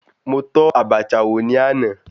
Mo tọ́ Abacha wò ní àná.